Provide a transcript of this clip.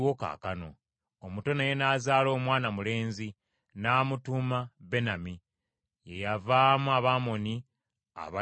Omuto naye n’azaala omwana mulenzi n’amutuuma Benami, ye yavaamu Abamoni abaliwo ne kaakano.